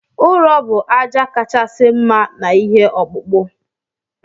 Ụrọ bu aja kachasi mma na ihe ọkpụkpụ.